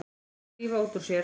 Drífa út úr sér.